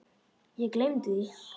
Ég gleymdi því.